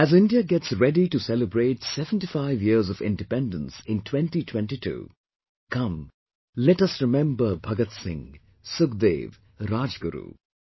As India gets ready to celebrate 75 years of Independence in 2022, come let us remember Bhagat Singh, Sukhdev, Rajguru